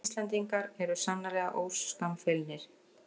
Íslendingar eru sannarlega óskammfeilnir